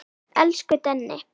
Elsku Denni.